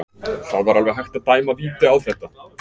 Það var alveg hægt að dæma víti á þetta.